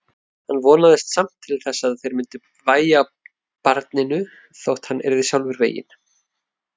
Hann vonaðist samt til að þeir myndu vægja barninu þótt hann yrði sjálfur veginn.